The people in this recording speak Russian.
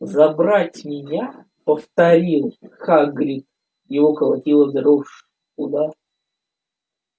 забрать меня повторил хагрид его колотила дрожь куда